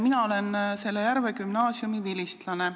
Mina olen selle Järve gümnaasiumi vilistlane.